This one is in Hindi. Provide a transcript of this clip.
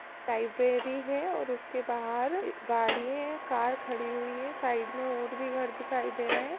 लाइब्रेरी है और उसके बाहर एक गाड़ी है कार खड़ी हुई हैं साईड में और भी घर दिखाई दे रहे हैं।